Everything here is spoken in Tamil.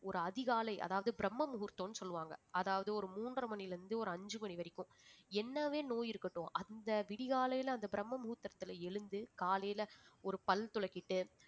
ஒரு அதிகாலை அதாவது பிரம்ம முகூர்த்தம்னு சொல்லுவாங்க அதாவது ஒரு மூன்றரை மணியில இருந்து ஒரு அஞ்சு மணி வரைக்கும் என்னவே நோய் இருக்கட்டும் அந்த விடி காலையில அந்த பிரம்ம முகூர்த்தரத்துல எழுந்து காலையில ஒரு பல் துலக்கிட்டு